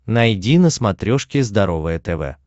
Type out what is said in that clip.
найди на смотрешке здоровое тв